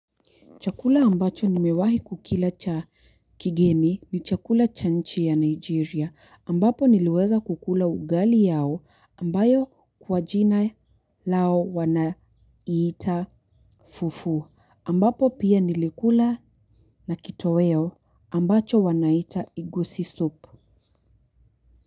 Chakula ambacho nimewahi kukila cha kigeni ni chakula cha nchi ya Nigeria ambapo niliweza kukula ugali yao ambayo kwa jina lao wanaiita fufu ambapo pia nilikula na kitoweo ambacho wanaita igusi soup.